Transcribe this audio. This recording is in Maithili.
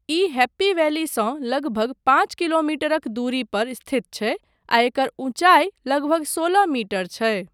ई हैप्पी वैलीसँ लगभग पाँच किलोमीटरक दूरी पर स्थित छै आ एकर ऊँचाइ लगभग सोलह मीटर छै।